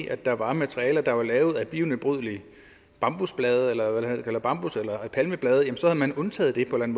at der var materialer der var lavet af bionedbrydelige bambusblade eller palmeblade så havde man undtaget det på en